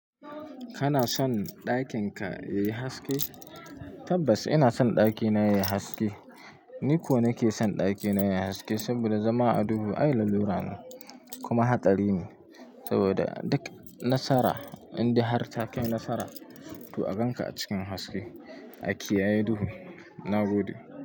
Kana son ɗakinka yayi haske? Tabbas ina son ɗakina yayi haske. Ni ko nake son ɗakina yayi haske saboda zama a duhu ai lalura ne kuma hatsari ne saboda duk nasara, inda har takai nasara, to a ganka a cikin haske a kiyaye duhu. Na gode.